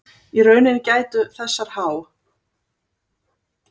Í rauninni gætu þessar há